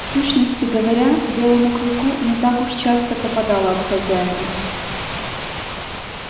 в сущности говоря белому клыку не так уж часто попадало от хозяина